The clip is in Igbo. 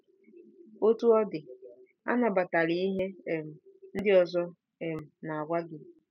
Otú ọ dị, anabatala ihe um ndị ọzọ um na-agwa gị.